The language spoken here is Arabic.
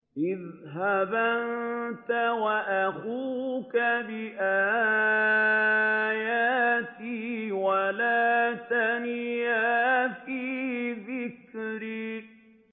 اذْهَبْ أَنتَ وَأَخُوكَ بِآيَاتِي وَلَا تَنِيَا فِي ذِكْرِي